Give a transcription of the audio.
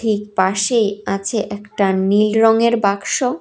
এক পাশে আছে একটা নীল রঙের বাক্স।